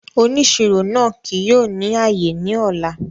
Òníṣírò náà kìí yóò ní ayé ní ọlá